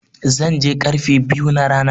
Zan je karfe biyu na rana.